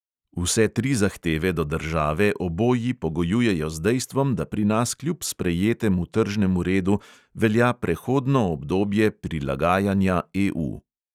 Vse tri zahteve do države oboji pogojujejo z dejstvom, da pri nas kljub sprejetemu tržnemu redu velja prehodno obdobje prilagajanja EU.